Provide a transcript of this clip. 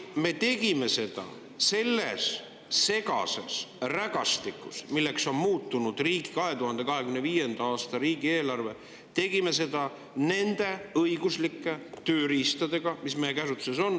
Me tegime seda selles segases rägastikus, milleks on muutunud 2025. aasta riigieelarve, ja tegime seda nende õiguslike tööriistadega, mis meie käsutuses on.